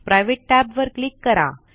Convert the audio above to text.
private tab वर click करा